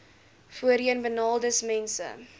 voorheenbenadeeldesmense